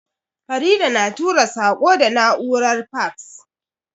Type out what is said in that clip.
Farida na tura saƙo da na'urar faks.